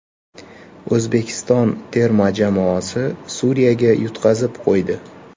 O‘zbekiston terma jamoasi Suriyaga yutqazib qo‘ydi.